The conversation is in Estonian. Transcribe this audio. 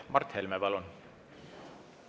Mart Helme, palun!